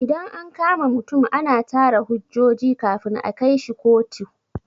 Idan an kama mutum ana tara hujjoji kafin a kaishi kotu.